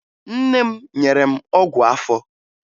Nne m nyere m ọgwụ afọ